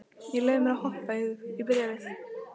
Ég leyfi mér að hoppa yfir í bréfið.